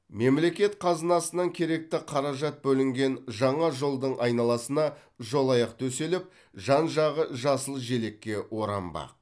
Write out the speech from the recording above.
мемлекет қазынасынан керекті қаражат бөлінген жаңа жолдың айналасына жолаяқ төселіп жан жағы жасыл желекке оранбақ